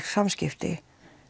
samskipti